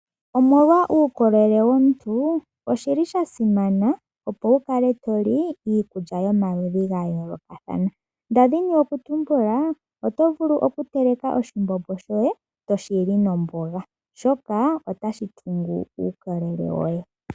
Omolwa uukolele womuntu, oshili shasimana opo wukale toli iikulya yomaludhi gayoolokathana , nda dhini okutumbula oto vulu okukala ho teleke oshimbombo shoye toshi li nomboga, oshoka otashi tungu uukolele woye.